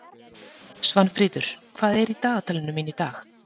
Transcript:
Svanfríður, hvað er í dagatalinu mínu í dag?